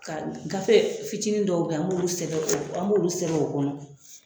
Ka gafe fitinin dɔw bɛ an an b'olu sɛbɛn o an b'olu sɛbɛn o kɔnɔ